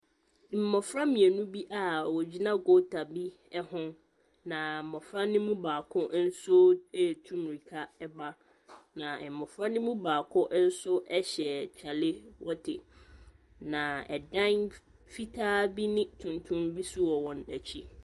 Mmɔfra mmienu bi a wɔgyina goota bi ho, na mmɔfra no mu baako nso retu mmirika ba, na mmɔfra no mu baako nso hyɛ kyalewote, na dan fitaa bi ne tuntum bi nso wɔ wɔn akyi.